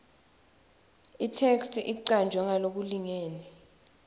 itheksthi icanjwe ngalokulingene